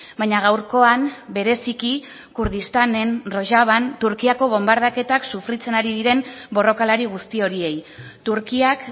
baina gaurkoan bereziki kurdistanen turkiako bonbardaketak sufritzen ari diren borrokalari guzti horiei turkiak